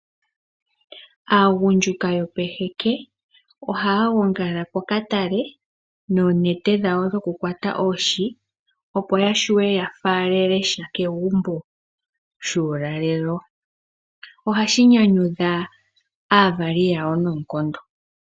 Aagundjuka yopeheke ohaya gongala pokatale noonete dhawo dhokukwata oohi opo yashuwe yafaalele sha kegumbo shuulalelo. Ohashi nyanyudha aavali yawo noonkondo.